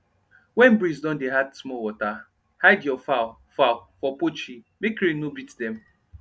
when breeze don dey add small water hide your fowl fowl for poultry make rain no beat them